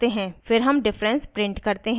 फिर हम difference print करते हैं